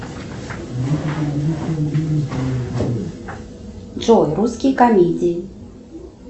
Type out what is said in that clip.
джой русские комедии